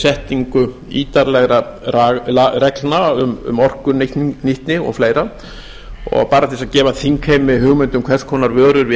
setningu ítarlegra reglna um orkunýtni og fleiri bara til að gefa þingheimi hugmynd um hvers konar vörur við